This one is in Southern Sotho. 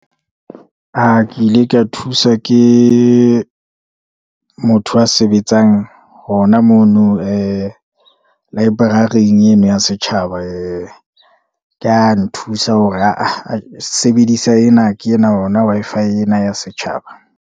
Ke ile ka thuswa ke motho a sebetsang hona mono, ee library-ing eno ya setjhaba, ee ka nthusa hore sebedisa ena ke ena hona Wi-Fi ena ya setjhaba.